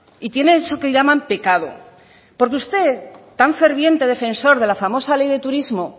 y tiene eso que llaman pecado porque usted tan ferviente defensor de la famosa ley de turismo